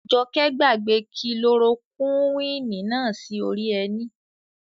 Àjọkẹ́ gbàgbé kilorokúwìnì náà sí orí ẹní